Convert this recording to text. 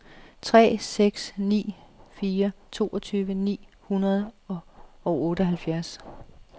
tre seks ni fire toogtyve ni hundrede og otteoghalvfems